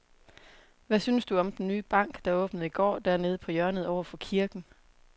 Hvad synes du om den nye bank, der åbnede i går dernede på hjørnet over for kirken?